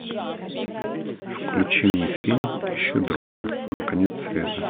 включи мне фильм ищу друга на конец света